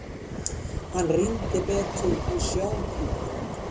Hann rýndi betur í sjónpípuna.